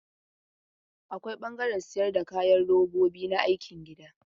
Akwai ɓangaren sayar da kayan robobi na aikin gida.